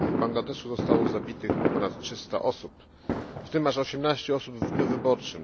r. w Bangladeszu zostało zabitych ponad 300 osób, w tym aż 18 osób w dniu wyborów.